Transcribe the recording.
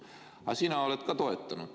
Aga sina oled ka seda toetanud.